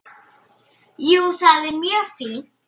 Jú, það er mjög fínt.